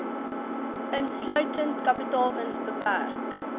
insluitend kapitaalwins beperk